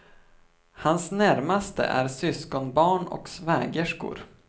Hans närmaste är syskonbarn och svägerskor.